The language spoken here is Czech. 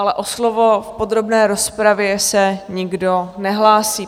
Ale o slovo v podrobné rozpravě se nikdo nehlásí.